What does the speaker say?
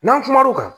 N'an kumana o kan